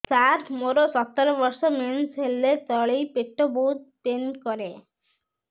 ସାର ମୋର ସତର ବର୍ଷ ମେନ୍ସେସ ହେଲେ ତଳି ପେଟ ବହୁତ ପେନ୍ କରେ